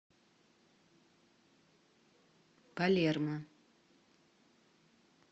палермо